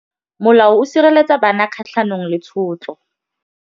Molao o sireletsa bana kgatlhanong le tshotlo.